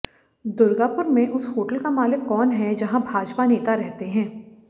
दुगार्पुर में उस होटल का मालिक कौन है जहां भाजपा नेता रहते हैं